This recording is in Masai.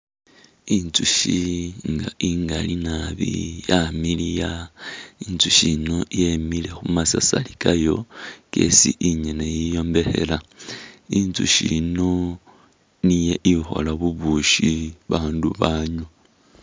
Inzushi nga ingali nabi yamiliya, inzushi yino yemile khumasasari kayo kesi inyene yiyombekhela, inzushi yino niyo ikhola bubushi ba bandu banywa.